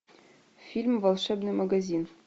фильм волшебный магазин